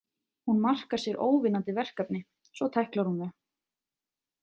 Hún markar sér óvinnandi verkefni, svo tæklar hún þau.